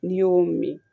N'i y'o min